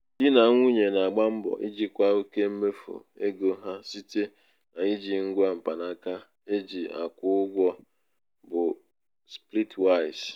di na nwunye na-agba mbọ ijikwa oke mmefu ego ha site n'iji ngwa mkpanaka e ji akwụ ụgwọ bụ splitwise.